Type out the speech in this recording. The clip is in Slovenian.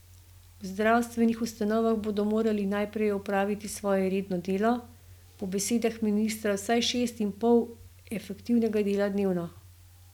V zdravstvenih ustanovah bodo morali najprej opraviti svoje redno delo, po besedah ministra vsaj šest ur in pol efektivnega dela dnevno.